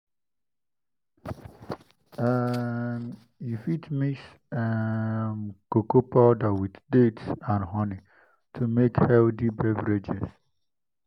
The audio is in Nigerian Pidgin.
um you fit mix um cocoa powder with dates and honey to make healthy beverages.